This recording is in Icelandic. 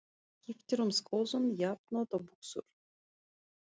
Hann skiptir um skoðun jafnoft og buxur.